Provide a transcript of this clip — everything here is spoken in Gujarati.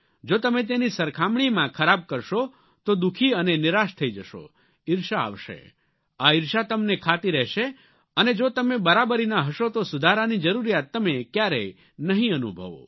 જો તમે તેની સરખામણીમાં ખરાબ કરશો તો દુઃખી અને નિરાશ થઇ જશો ઇર્ષા આવશે આ ઇર્ષા તમને ખાતી રહેશે અને જો તમે બરાબરીના હશો તો સુધારાની જરૂરિયાત તમે ક્યારેય નહીં અનુભવો